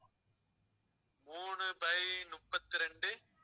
மூணு by முப்பத்தி ரெண்டு